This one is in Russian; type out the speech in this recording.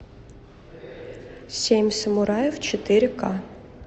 семь самураев четыре ка